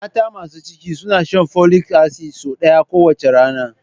Mata masu ciki suna shan folic acid sau ɗaya kowace rana